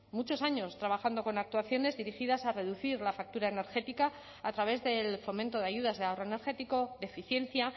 muchos años trabajando con actuaciones dirigidas a reducir la factura energética a través del fomento de ayudas de ahorro energético de eficiencia